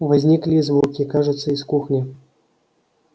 возникли и звуки кажется из кухни